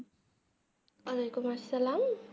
আলাইকুম আসসালামু